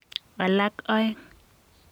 Alak aeng.